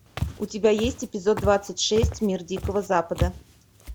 у тебя есть эпизод двадцать шесть мир дикого запада